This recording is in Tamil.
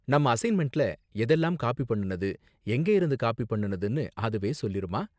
நம்ம அசைன்மெண்ட்ல எதெல்லாம் காப்பி பண்ணுனது, எங்கயிருந்து காப்பி பண்ணுனதுனு அதுவே சொல்லிருமா?